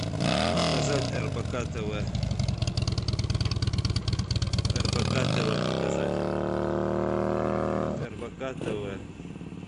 показать рбк тв рбк тв показать рбк тв